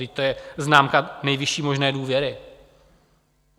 Vždyť to je známka nejvyšší možné důvěry.